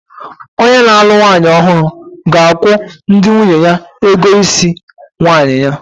Onye na-alụ nwanyị ọhụrụ ga-akwụ ndị nwunye ya ego isi nwanyi ya.